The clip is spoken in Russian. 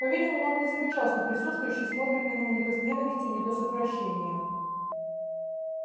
по-видимому он не замечал что присутствующие смотрят на него не то с ненавистью не то с отвращением